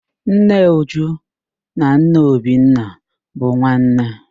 Nne Uju na nne Obinna bụ nwanne